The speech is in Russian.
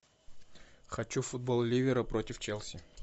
хочу футбол ливера против челси